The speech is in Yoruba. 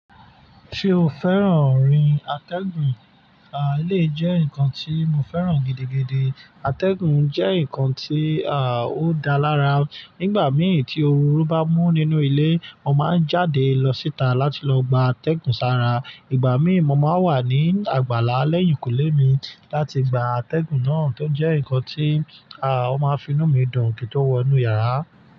Ṣé o fẹ́ràn orin atẹ́gùn? Àí, lè jẹ́ ǹkan tí mo fẹ́ràn gidigidi. Atẹ́gùn jẹ́ ǹkan tí, ó dáa lára. Nígbà mìí tí ooru bá mú nínú ilé, mo máa ń jáde lọ síta láti lọ gba atẹ́gùn sára. Ìgbà mìí mo máa ń wà ní àgbàlá lẹ́yìnkùlé mi láti gba atẹ́gùn náà tó jẹ́ ǹkan tí, à, ó máa ń fi inú mi dùn kìtó wọ inú yàrá.